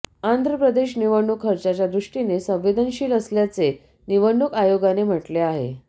आंध्रप्रदेश निवडणूक खर्चाच्या दृष्टीने संवेदनशील असल्याचे निवडणूक आयोगाने म्हटले आहे